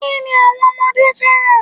Kini àwọn ọmọdé fẹ́ràn?